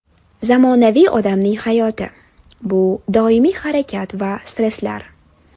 Zamonaviy odamning hayoti - bu doimiy harakat va stresslar.